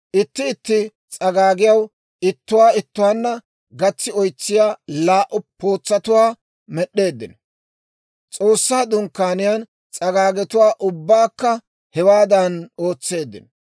Itti itti s'agaagiyaw ittuwaa ittuwaanna gatsi oytsiyaa laa"u pootsatuwaa med'd'eeddino. S'oossaa Dunkkaaniyaa s'agaagetuwaa ubbaakka hewaadan ootseeddino.